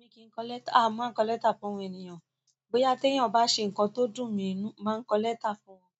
Mi kì n kọ lẹ́tà, a mo máa kọ lẹ́tà fún àwọn ènìyàn. Bóyá tí èeyàn bá ṣe nǹkan tó dùn mi n nú, mo màá n kọ lẹ́tà fún wọn.